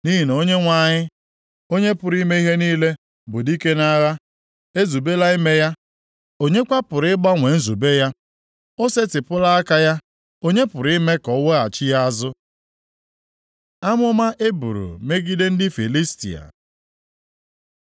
Nʼihi na Onyenwe anyị, Onye pụrụ ime ihe niile, bụ dike nʼagha, ezubela ime ya. Onye kwa pụrụ ịgbanwe nzube ya? O setịpụla aka ya, onye pụrụ ime ka o weghachi ya azụ? Amụma e buru megide ndị Filistia